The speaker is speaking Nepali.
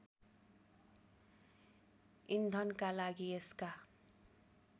इन्धनका लागि यसका